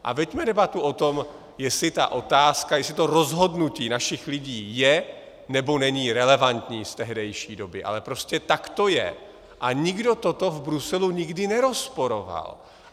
A veďme debatu o tom, jestli ta otázka, jestli to rozhodnutí našich lidí je, nebo není relevantní z tehdejší doby, ale prostě tak to je a nikdo toto v Bruselu nikdy nerozporoval.